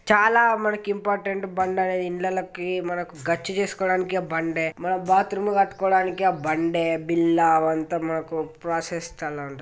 చాలా మనకి ఇంపార్టెంట్ బండ అనేది ఇండ్లల్లకి. మనకు గచ్చు చేస్కొడానికి ఆ బండే. మనం బాత్రూమ్ కట్టుకోడానికి ఆ బండే. బిల్లా అంతా మనకు ప్రాసెస్ --